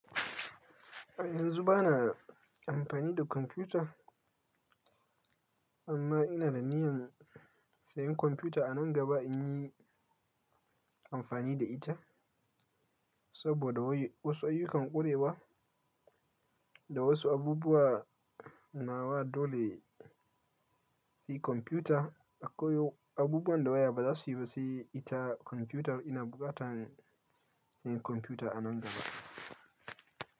Yanzu ba na amfani da kwamfuta, amma ina da niyan sayan kwamfuta a nan gaba in yi amfani da ita. Saboda wasu ayyukan ƙurewa da wasu abubuwa nawa dole sai kwamfuta. Akwai abubuwan da waya ba za su yi ba sai ita kwamfuta. Ina buƙatan sayan kwamfuta a nan gaba.